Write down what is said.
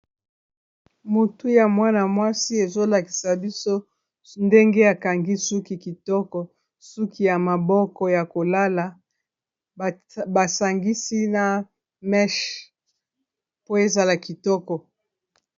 motu ya mwana-mwasi ezolakisa biso ndenge akangi suki kitoko suki ya maboko ya kolala basangisi na menche po ezala kitoko